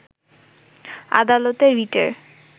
আদালতে রিটের